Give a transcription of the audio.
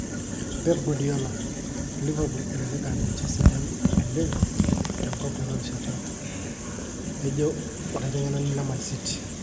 Pep Guardiola:Liverpool elelek aa niche sidan oleng tenkop tenarishata, ejo olaitengenani le Man city.